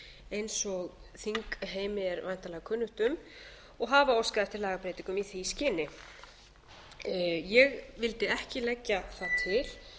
eins og þingheimi er væntanlega kunnugt um og hafa óskað eftir lagabreytingum í því skyni ég vildi ekki leggja það til